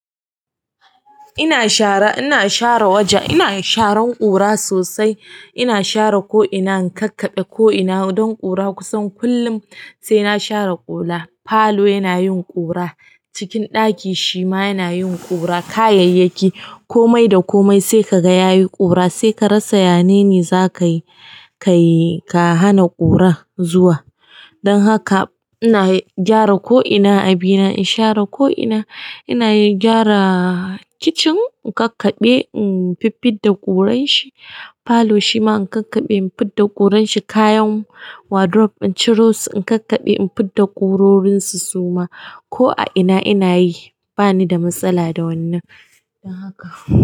Ina share, ina share waja, ina sharan ƙura sosai. Ina share ko ina in kakkabe ko ina don ƙura kusan kullum sai na share ƙura, falo yana yin ƙura, cikin ɗaki shi ma yana yin ƙura, kayayyaki, komai da komai sai ka ga ya yi ƙura sai ka rasa ya nene za ka yi, ka yi, ka hana ƙura zuwa. Don haka ina gyara ko ina a bina in share ko ina. Ina yin gyara kicin in kakkabe in fiffid da ƙuranshi. Falo shi ma in kakkabe in fidda ƙuranshi. Kayan wardrobe in ciro su in kakkabe in fidda ƙurorinsu suma. Ko a ina ina yi bani da matsala da wannan. Don haka.